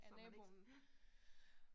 Så man ikke, ja